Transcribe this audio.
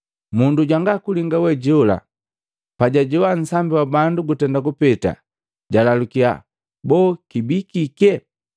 Mundu jwanga linga we jola pajajoa nsambi wa bandu gutenda kupeta, jalalukiya, “Boo kibii kike?”